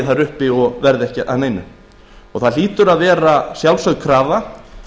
þar uppi og verði ekki að neinu það hlýtur að vera sjálfsögð krafa